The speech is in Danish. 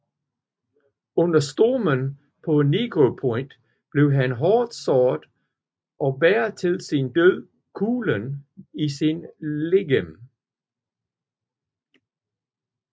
Under stormen på Negropont blev han hårdt såret og bar til sin død kuglen i sit legeme